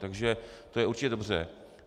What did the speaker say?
Takže to je určitě dobře